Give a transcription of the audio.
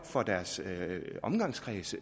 fra deres omgangskreds